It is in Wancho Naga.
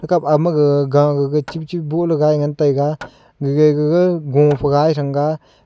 thaka ama agag ga chibi chibi boh lagai ngan taiga gaga gu phai gai thang ga.